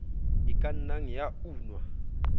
e ka nnang ya unwa